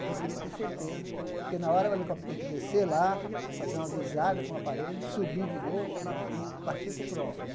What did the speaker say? Então, eu queria ter certeza, porque na hora o helicóptero tinha que descer lá, fazer uma visada com o aparelho, subir de novo e partir para o próximo né.